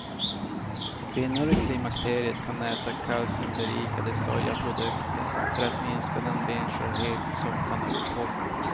Kvinnor i klimakteriet kan äta kalciumberikade sojaprodukter för att minska den benskörhet som kan uppkomma.